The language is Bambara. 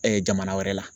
jamana wɛrɛ la